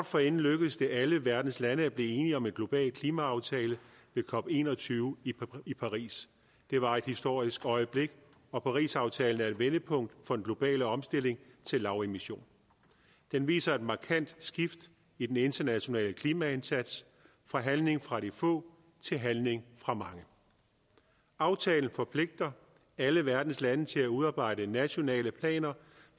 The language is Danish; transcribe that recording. forinden lykkedes det alle verdens lande at blive enige om en global klimaaftale ved cop21 i paris det var et historisk øjeblik og parisaftalen er et vendepunkt for den globale omstilling til lavemission den viser et markant skift i den internationale klimaindsats fra handling fra de få til handling fra mange aftalen forpligter alle verdens lande til at udarbejde nationale planer